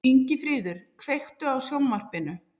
Ingifríður, kveiktu á sjónvarpinu.